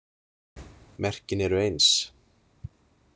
Merkin eru eins.